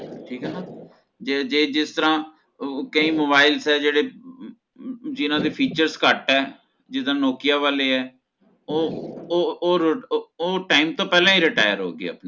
ਠੀਕ ਆ ਨਾ ਜੇ ਜੇ ਜਿਸ ਤਰ੍ਹਾਂ ਉਹ ਕਈ mobiles ਆ ਜਿਹੜੇ ਜਿਨ੍ਹਾਂ ਦੇ features ਘੱਟ ਹੈ ਜਿਦਾ nokia ਵਾਲੇ ਹੈ ਓਹ ਓ ਓ ਉਹ ਉਹ time ਤੋਂ ਪਹਿਲਾ retire ਹੋ ਗਏ